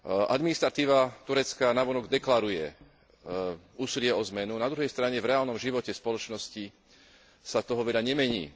Administratíva Turecka navonok deklaruje úsilie o zmenu, na druhej strane v reálnom živote spoločnosti sa toho veľa nemení.